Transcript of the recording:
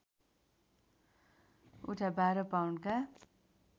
वटा १२ पाउन्डका